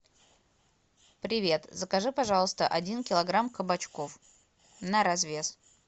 привет закажи пожалуйста один килограмм кабачков на развес